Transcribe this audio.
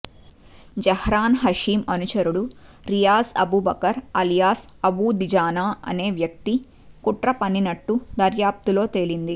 జహ్రాన్ హషీమ్ అనుచరుడు రియాజ్ అబూబకర్ అలియాస్ అబూ దిజానా అనే వ్యక్తి కుట్ర పన్నినట్లు దర్యాప్తులో తేలింది